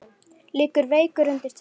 Liggur veikur undir teppi.